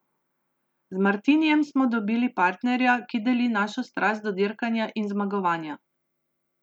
Z Martinijem smo dobili partnerja, ki deli našo strast do dirkanja in zmagovanja.